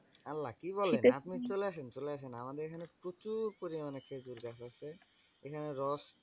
আল্লাহ কি বলেন? আপনি চলে আসেন চলে আসেন আমাদের এখানে প্রচুর পরিমানে খেজুর গাছ আছে। এখানে রস